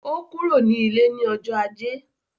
Ó kúrò ní ilé ní ọjọ́ ajé.